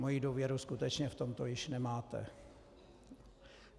Moji důvěru skutečně v tomto už nemáte.